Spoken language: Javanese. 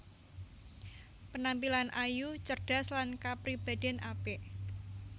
Penampilan ayu cerdas lan kapribadèn apik